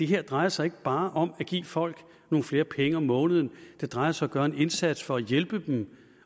her drejer sig ikke bare om at give folk nogle flere penge om måneden det drejer sig gøre en indsats for at hjælpe dem